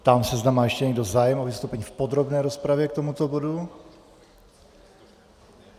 Ptám se, zda má ještě někdo zájem o vystoupení v podrobné rozpravě k tomuto bodu.